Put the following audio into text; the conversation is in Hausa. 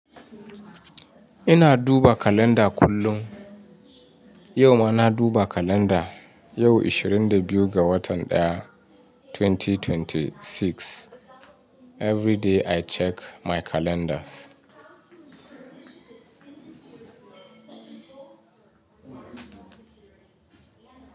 Ina duba kalanda kullum. Yau ma na duba kalanda, yau ishirin da biyu ga watan daya, 2026. Every day I check my calendars.